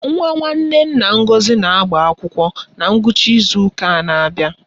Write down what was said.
Nwa nwanne nna Ngọzi na-agbaakwụkwọ na ngwụcha ịzu ụka na-abịa.